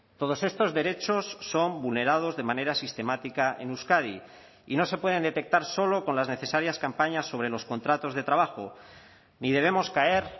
todos estos derechos son vulnerados de manera sistemática en euskadi y no se pueden detectar solo con las necesarias campañas sobre los contratos de trabajo ni debemos caer